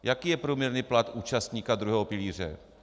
Jaký je průměrný plat účastníka druhého pilíře?